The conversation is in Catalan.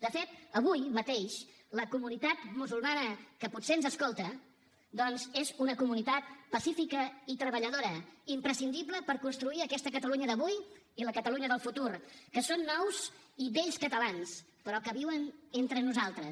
de fet avui mateix la comunitat musulmana que potser ens escolta doncs és una comunitat pacífica i treballadora imprescindible per construir aquesta catalunya d’avui i la catalunya del futur que són nous i vells catalans però que viuen entre nosaltres